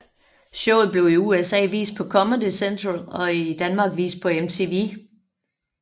Showet blev i USA vist på Comedy Central og i Danmark vist på MTV